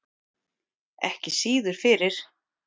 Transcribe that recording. Ekki síður fyrir